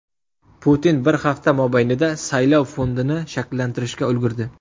Putin bir hafta mobaynida saylov fondini shakllantirishga ulgurdi.